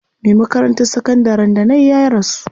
Me makarantar sakandarin da nayi ya rasu.